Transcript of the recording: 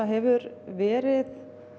hefur verið